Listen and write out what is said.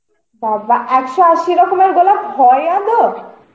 বাবা! একশ আশি রকমের গোলাপ হয় আদেও?